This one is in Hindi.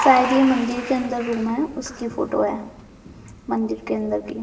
शायद ये मंदिर के अंदर रूम है उसकी फोटो है मंदिर के अंदर की।